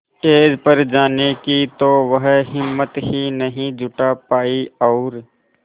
stage पर जाने की तो वह हिम्मत ही नहीं जुटा पाई और